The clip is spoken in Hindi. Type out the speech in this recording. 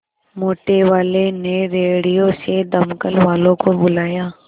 मोटेवाले ने रेडियो से दमकल वालों को बुलाया